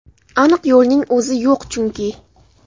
Aniq yo‘lning o‘zi yo‘q chunki.